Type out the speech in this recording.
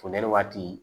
Funteni waati